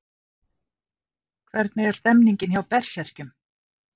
Hvernig er stemningin hjá Berserkjum?